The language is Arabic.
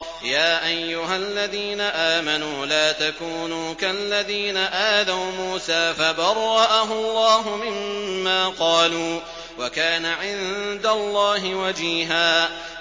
يَا أَيُّهَا الَّذِينَ آمَنُوا لَا تَكُونُوا كَالَّذِينَ آذَوْا مُوسَىٰ فَبَرَّأَهُ اللَّهُ مِمَّا قَالُوا ۚ وَكَانَ عِندَ اللَّهِ وَجِيهًا